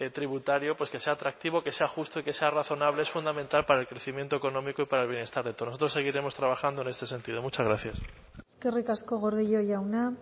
tributario que sea atractivo que sea justo y que sea razonable es fundamental para el crecimiento económico y para el bienestar de todos nosotros seguiremos trabajando en este sentido muchas gracias eskerrik asko gordillo jauna